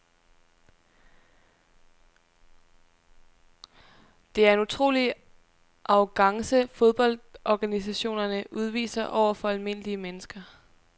Det er en utrolig arrogance fodboldorganisationerne udviser over for almindelige mennesker.